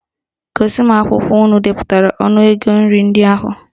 Gosi m akwụkwọ unu depụtara ọnụ ego nri ndị a